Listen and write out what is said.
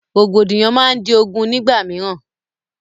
Rògbòdìyàn máa di ogún nígbà mìíràn